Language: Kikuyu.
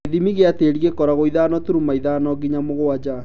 Gĩthimi gĩa tĩri gĩkorwo ithano turuma ithano nginya mũgwanja